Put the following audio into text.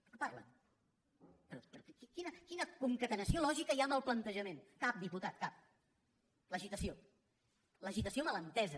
de què parla però quina concatenació lògica hi ha en el plantejament cap diputat cap l’agitació l’agitació mal entesa